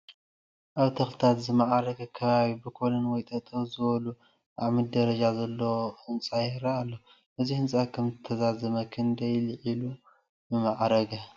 ኣብ ብተኽልታት ዝማዕረገ ከባቢ ብኮለን ወይ ጠጠው ዝበሉ ኣዕምዲ ደረጃ ዘሎ ህንፃ ይርአ ኣሎ፡፡ እዚ ህንፃ ከምተዛዘመ ክንደይ ልዒሉ ምማእረገ?